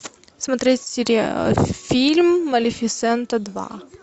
смотреть фильм малефисента два